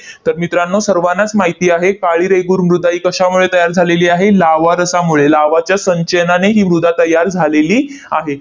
तर मित्रांनो, सर्वानाच माहिती आहे, काळी रेगूर मृदा ही कशामुळे तयार झालेली आहे? लाव्हारसामुळे, लाव्हाच्या संचयनाने ही मृदा तयार झालेली आहे.